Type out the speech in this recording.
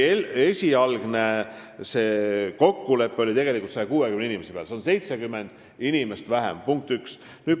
Esialgne kokkulepe oli tegelikult 160 inimest, seega on see 70 inimest vähem, punkt üks.